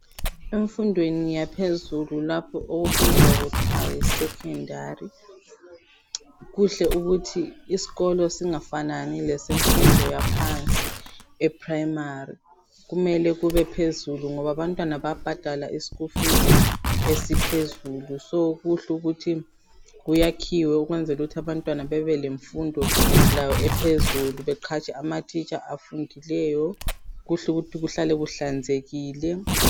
emfundweni yaphezulu lapho okubizwa kuthwa yi secondary kuhle ukuthi isikolo singafanani lesemfundo yaphansi e primary kumele kube phezulu abantwana bayabhadala i school fees esiphezulu so kuhle ukuthi kuyakhiwe ukwenzelaukuthi abantwana bebelemfundo labo ephezulu beqhatshe ama teacher afundileyo kuhle ukuthi kuhlale kuhlanzekile